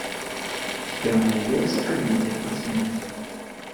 у тебя найдется комедия про смерть